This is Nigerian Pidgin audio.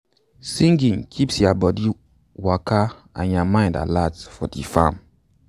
singing keeps ya bodi waka and ya mind alert for di farm.